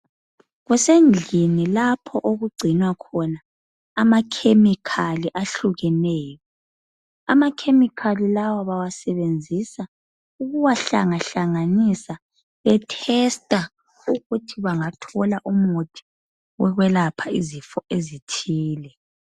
Kusendlini lapho okugcinwa khona amakhemikhali ahlukeneyo. Amakhemikhali lawa bawasebenzisa ukuwahlangahlanganisa bethesta ukuthi bangathola umuthi wokwelapha izifo ezithile.